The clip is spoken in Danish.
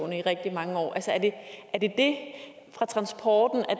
i rigtig mange år er det fra transporten